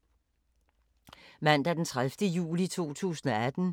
Mandag d. 30. juli 2018